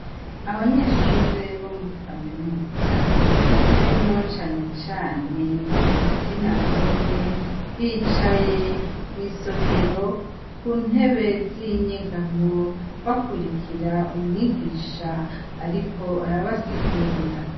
Abanyeshure bo muri kaminuza harimwo canecane igitsina gore bicaye mw'isomero ku ntebe z'inyegamo bakurikira umwigisha, ariko arabasigurira.